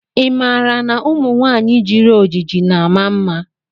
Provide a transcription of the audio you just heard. Ị maara na ụmụ nwanyị jiri ojiji na ama mma?